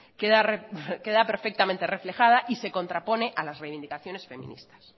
queda perfectamente reflejada y se contrapone a las reivindicaciones feministas